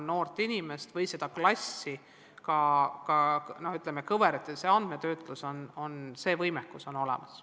Noort inimest või kogu klassi saab kõverate alusel analüüsida, andmetöötluses on see võimekus olemas.